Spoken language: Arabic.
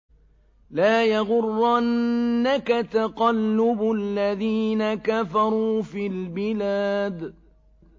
لَا يَغُرَّنَّكَ تَقَلُّبُ الَّذِينَ كَفَرُوا فِي الْبِلَادِ